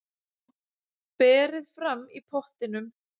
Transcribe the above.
Berið fram í pottinum.